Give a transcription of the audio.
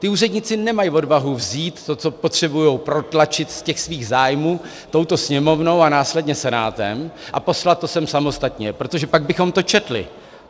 Ti úředníci nemají odvahu vzít to, co potřebují protlačit z těch svých zájmů touto Sněmovnou a následně Senátem, a poslat to sem samostatně, protože pak bychom to četli.